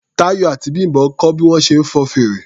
Táyọ̀ àti Bím̀bọ́ ń kọ́ bí wọ́n ṣe ń fọn fèrè.